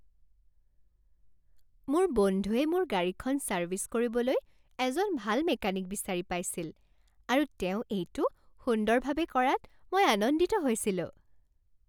মোৰ বন্ধুৱে মোৰ গাড়ীখন ছাৰ্ভিছ কৰিবলৈ এজন ভাল মেকানিক বিচাৰি পাইছিল আৰু তেওঁ এইটো সুন্দৰভাৱে কৰাত মই আনন্দিত হৈছিলোঁ।